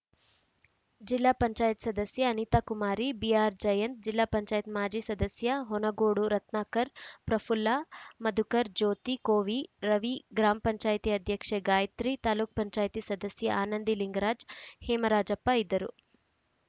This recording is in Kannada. ಜಿಲ್ಲಾ ಪಂಚಾಯತಿ ಸದಸ್ಯೆ ಅನಿತಾಕುಮಾರಿ ಬಿಆರ್‌ಜಯಂತ್‌ ಜಿಲ್ಲಾ ಪಂಚಾಯತಿ ಮಾಜಿ ಸದಸ್ಯ ಹೊನಗೋಡು ರತ್ನಾಕರ್‌ ಪ್ರಫುಲ್ಲಾ ಮಧುಕರ್‌ ಜ್ಯೋತಿ ಕೋವಿ ರವಿ ಗ್ರಾಪಂ ಅಧ್ಯಕ್ಷೆ ಗಾಯಿತ್ರಿ ತಾಪಂ ಸದಸ್ಯೆ ಆನಂದಿ ಲಿಂಗರಾಜ್‌ ಹೇಮರಾಜಪ್ಪ ಇದ್ದರು